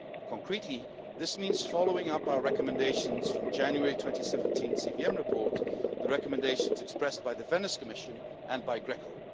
Concretely, this means following up our recommendations from the January 2017 CVM report, and the recommendations expressed by the Venice Commission and GRECO.